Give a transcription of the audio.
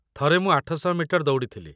ଥରେ ମୁଁ ୮୦୦ ମିଟର ଦୌଡ଼ିଥିଲି ।